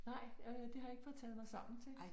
Nej øh det har jeg ikke fået taget mig sammen til